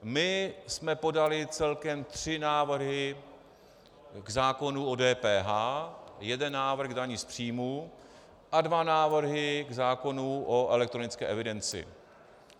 My jsme podali celkem tři návrhy k zákonu o DPH, jeden návrh k dani z příjmu a dva návrhy k zákonu o elektronické evidenci.